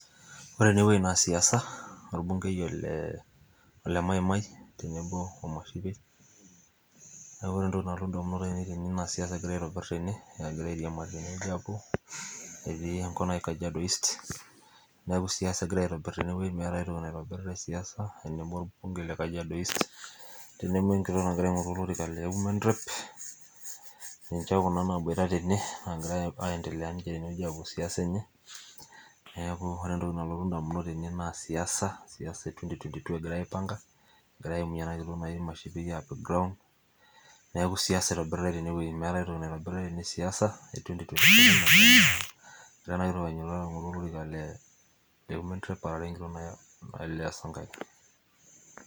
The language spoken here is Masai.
ore ene wueji naa siasa, orbunkei olemaimai, tenebo o mashipei. kake ore entoki nalotu idamunot aainei tene naa siasa egira aitobir tene. egira airiamari tene wuji aapuo etii enkop naji, kajiado east. neku siasa egira aitobir tene meeta aitoki naitobirita. siasa tenebo olbunkei le kajiado east. tenbo we nkitok nagira aing'oru olorika le women rep. niche kuna naaboita tene naagira aendelea ninche tene wueji aapuo siasa enye. neeku ore entoki nalotu damunot tene naa siasa.e twenty twenyv two egira aipanga. egira aaimie ena kitok naji mashipei aapik ground. neeku siasa egirae aaitobir teene wueji meeta aitoki nagirae aaitobir tene .siasa, egira ena kitok ainyiototo aing'oru olorika le women rep aarare enkitok naji leah sankaire.